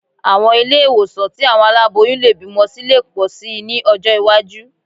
Àwọn ilé ìwòsàn tí àwọn aláboyún lè bímọ sí lè pọ̀ síi ní ọjọ́ iwájú